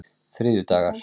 þriðjudagar